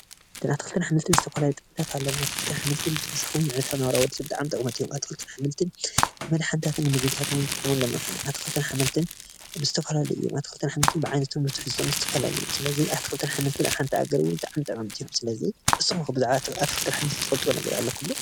ኣትክልትን አሕምልትን ዝተፈላለዮ ዓይነታት ጥቅሚ ኣለዎም ። አትክልትን አሕምልትን ብተወሳኪ ንጥዕናና እውን ኣዝዮም ጠቀምቲ እዮም ። ኣትክልትን አሕምልትን ንመደሓንታትን ንምግብነትን እንጥቀመሎም ኣትክልትን አሕምልትን ዝተፈላለዪ እዬም። ኣትክልትን አሕምልትን ብዓይነቶምን ብትሕዝተኦምን ዝተፈላለዬ እዮም ። ሰለእዚ ኣትክልትን አሕምልትን አብሓንቲ ሃገር ብጣዕሚ ጠቀምቲ እዬም ። ሰለዚ ንስኩምከ ብዛዕባ ኣትክልቲ አሕምልትን ትፈልጥወም ነገር ኣለኹም ደ?